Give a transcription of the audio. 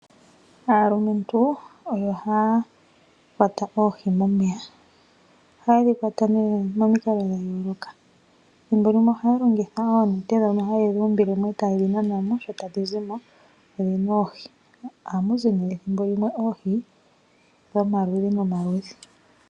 Aalumentu oyo haya kwata oohi momeya. Oha ye dhi kwata nee momikalo dha yooloka. Thimbo limwe oha ya longitha oonete ndhono ha ye dhi umbile mo e ta ye dhi nana mo, shi tadhi zimo omu na oohi. Oha mu zi nee oohi dhomaludhi nomaludhi.